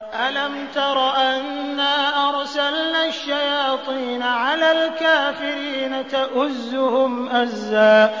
أَلَمْ تَرَ أَنَّا أَرْسَلْنَا الشَّيَاطِينَ عَلَى الْكَافِرِينَ تَؤُزُّهُمْ أَزًّا